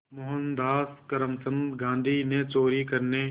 मोहनदास करमचंद गांधी ने चोरी करने